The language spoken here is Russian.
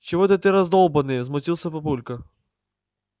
чего это ты раздолбанный возмутился папулька